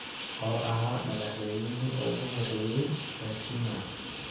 oo ahaa madaxweynihii ugu horreeyay ee Kenya